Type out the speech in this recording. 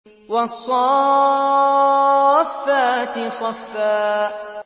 وَالصَّافَّاتِ صَفًّا